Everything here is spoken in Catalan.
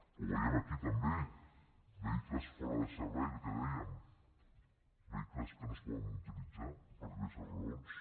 ho veiem aquí també vehicles fora de servei que dèiem vehicles que no es poden utilitzar per diverses raons